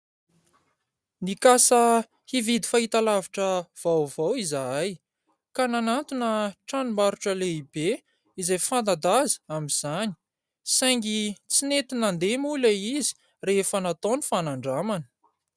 Nikasa hividy fahitalavitra vaovao izahay ka nanantona tranombarotra lehibe izay fanta-daza amin'izany, saingy tsy nety nandeha moa ilay izy rehefa natao ny fanandramana.